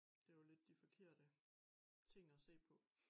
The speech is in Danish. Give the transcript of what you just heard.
Det jo lidt de forkerte ting at se på